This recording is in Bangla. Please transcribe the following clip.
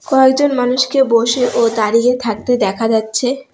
কয়জন মানুষকে বসে ও দাঁড়িয়ে থাকতে দেখা যাচ্ছে।